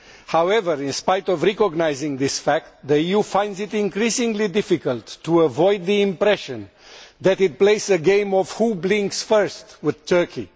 However, in spite of recognising this fact, the EU finds it increasingly difficult to avoid the impression that it is playing a game of who blinks first' with Turkey.